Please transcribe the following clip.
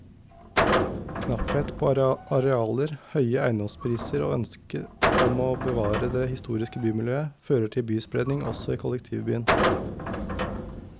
Knapphet på arealer, høye eiendomspriser og ønsket om å bevare det historiske bymiljøet fører til byspredning også i kollektivbyen.